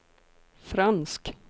fransk